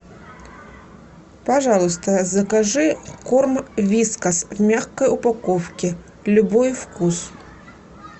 пожалуйста закажи корм вискас в мягкой упаковке любой вкус